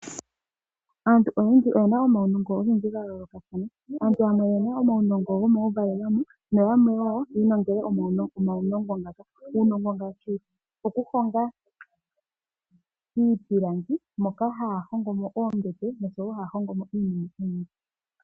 Aantu oyendji oyena omaunongo ogendji gayoolokathana. Aantu yamwe oyena omaunongo gomauvalelwamo, noyamwe wo, yi ilongele omaunongo ngaaka. Uunongo ngaashi, okuhonga iipilangi, moka haya hongomo oombete noshowo iinima oyindji.